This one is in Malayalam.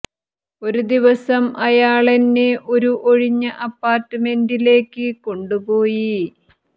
ഒരു ദിവസം അയാളെന്നെ ഒരു ഒഴിഞ്ഞ അപ്പാര്ട്മെന്റിലേക്ക് കൊണ്ട് പോയി